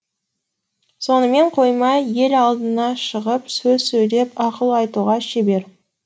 сонымен қоймай ел алдына шығып сөз сөйлеп ақыл айтуға шебер